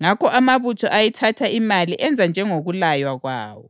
Ngakho amabutho ayithatha imali enza njengokulaywa kwawo.